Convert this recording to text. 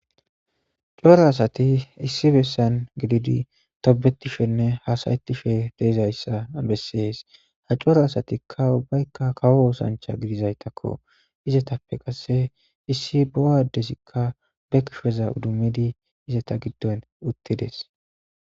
coro asati issi bessan gididi tobetishenne haasayettishe deezayssa bessees ha cora asatikka ubbaykka kawo oosancha gidizaytakko izatappe qasse issi bo7adesikka be kisheza udumidi izata giddon uttides